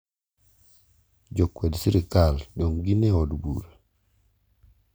Jo kwed sirikal dong gin e od bura